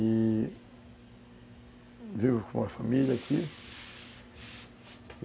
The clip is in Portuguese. E vivo com a família aqui.